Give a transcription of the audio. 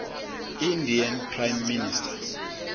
indian prime minister